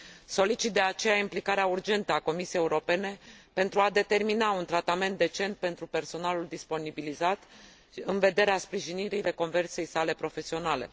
Solicit, de aceea, implicarea urgentă a Comisiei Europene pentru a determina un tratament decent pentru personalul disponibilizat în vederea sprijinirii reconversiei sale profesionale.